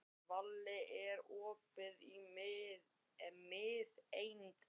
Váli, er opið í Miðeind?